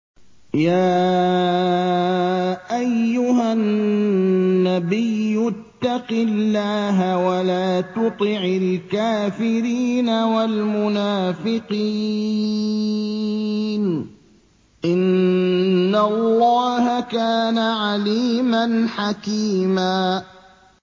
يَا أَيُّهَا النَّبِيُّ اتَّقِ اللَّهَ وَلَا تُطِعِ الْكَافِرِينَ وَالْمُنَافِقِينَ ۗ إِنَّ اللَّهَ كَانَ عَلِيمًا حَكِيمًا